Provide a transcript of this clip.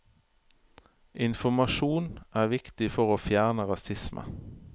Informasjon er viktig for å fjerne rasisme.